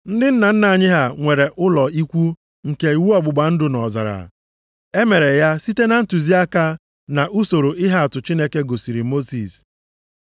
“Ndị nna nna anyị ha nwere ụlọ ikwu nke iwu ọgbụgba ndụ nʼọzara. E mere ya site na ntụziaka na usoro ihe atụ Chineke gosiri Mosis.